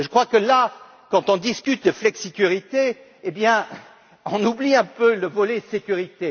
Je crois que là, quand on discute de flexicurité, et bien on oublie un peu le volet sécurité.